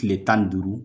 Kile tan ni duuru